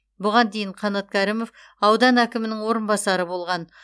бұған дейін қанат кәрімов аудан әкімінің орынбасары болған